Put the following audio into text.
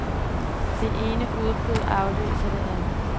Det ene udbrud afløser det andet.